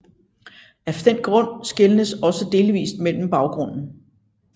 Af den grund skelnes også delvist mellem baggrunden